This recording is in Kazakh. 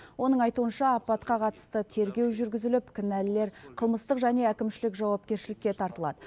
оның айтуынша апатқа қатысты тергеу жүргізіліп кінәлілер қылмыстық және әкімшілік жауапкершілікке тартылады